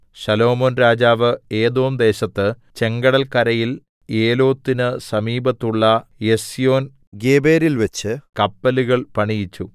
ശലോമോൻ രാജാവ് ഏദോംദേശത്ത് ചെങ്കടല്‍കരയിൽ ഏലോത്തിന് സമീപത്തുള്ള എസ്യോൻഗേബെരിൽവെച്ച് കപ്പലുകൾ പണിയിച്ചു